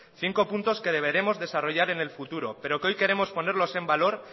cinco puntos que deberemos desarrollar en el futuro pero que hoy queremos ponerlos en valor